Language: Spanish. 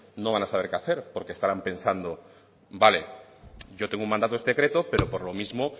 no van a saber qué hacer porque estarán pensando vale yo tengo un mandato de este decreto pero por lo mismo